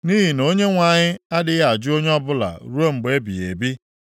Nʼihi na Onyenwe anyị adịghị ajụ onye ọbụla ruo mgbe ebighị ebi.